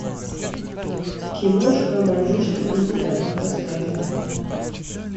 киношка маньчжурский кандидат поставь